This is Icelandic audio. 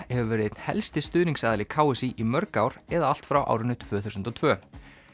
hefur verið einn helsti stuðningsaðili k s í í mörg ár eða allt frá árinu tvö þúsund og tvö